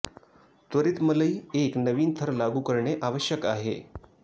त्वरित मलई एक नवीन थर लागू करणे आवश्यक आहे